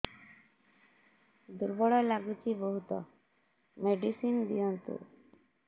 ଦୁର୍ବଳ ଲାଗୁଚି ବହୁତ ମେଡିସିନ ଦିଅନ୍ତୁ